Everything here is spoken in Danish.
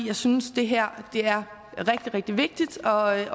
jeg synes det her er rigtig rigtig vigtigt og at